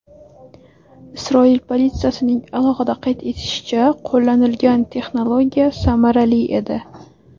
Isroil politsiyasining alohida qayd etishicha , qo‘llanilgan texnologiya samarali edi.